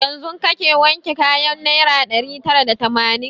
Yanzun kake wanke kayan naira ɗari tara da tamanin?